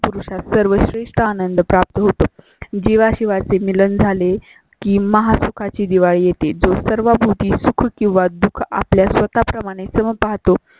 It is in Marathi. पुरषा सर्व श्रेष्ठ आनंद प्राप्त होता. जीवा शिवा शी मिलन झाले. की महा सुखाची दिवाळी येती जो सर्व सुख किंवा दुख आपल्या स्वतः प्रमाणे चं पाहतो